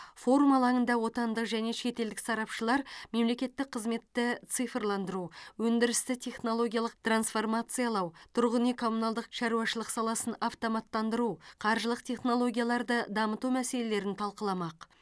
форум алаңында отандық және шетелдік сарапшылар мемлекеттік қызметті цифрландыру өндірісті технологиялық трансформациялау тұрғын үй коммуналдық шаруашылық саласын автоматтандыру қаржылық технологияларды дамыту мәселелерін талқыламақ